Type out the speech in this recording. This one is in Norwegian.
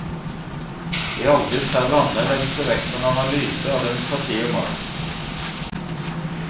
I alle de tre landene legges det vekt på en analyse av demokrati og makt.